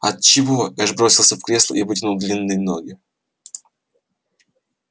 от чего эш бросился в кресло и вытянул длинные ноги